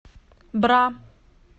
бра